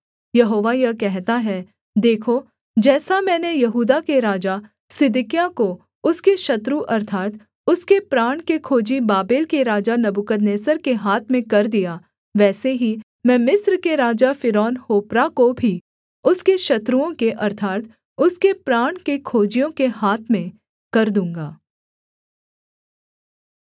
यहोवा यह कहता है देखो जैसा मैंने यहूदा के राजा सिदकिय्याह को उसके शत्रु अर्थात् उसके प्राण के खोजी बाबेल के राजा नबूकदनेस्सर के हाथ में कर दिया वैसे ही मैं मिस्र के राजा फ़िरौन होप्रा को भी उसके शत्रुओं के अर्थात् उसके प्राण के खोजियों के हाथ में कर दूँगा